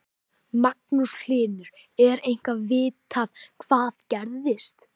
Magnús Hlynur: Er eitthvað vitað hvað gerðist?